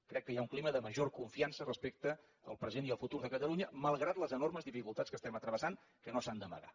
crec que hi ha un clima de major confiança respecte al present i el futur de catalunya malgrat les enormes dificultats que estem travessant que no s’han d’amagar